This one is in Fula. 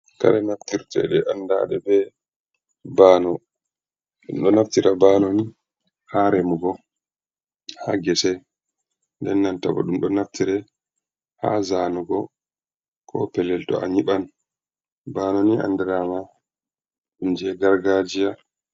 Kare naftirteɗe andaɗe be bano, ɗum ɗo naftira bano ni ha remugo ha gecei, den nanta ɗum ɗo naftira ha zanugo ko pellel to a nyiɓan baanoni andirama ɗum je gargajiya.